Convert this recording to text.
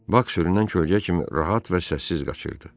Bak sürünən kölgə kimi rahat və səssiz qaçırdı.